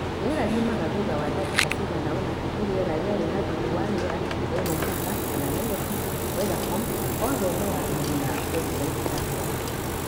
Rĩera riumaga thutha wa ndagĩka cigana ũna nĩ rĩera rĩarĩ na thumu wa rĩera rĩa Mombasa kana Nairobi weathercom othe no athĩĩni na website yakwa